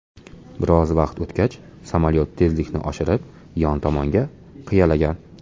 Biroz vaqt o‘tgach, samolyot tezlikni oshirib, yon tomonga qiyalagan.